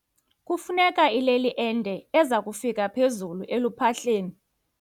Kufuneka ileli ende eza kufika phezulu eluphahleni.